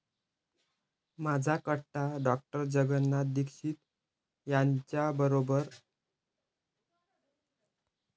माझा कट्टा । डॉ. जगनाथ दीक्षित यांच्यासोबत आरोग्यदायी डाएटकट्टा